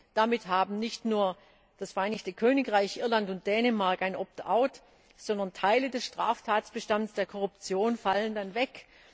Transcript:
2. Damit haben nicht nur das Vereinigte Königreich, Irland und Dänemark ein Opt out, sondern Teile des Straftatbestands der Korruption fallen dann weg.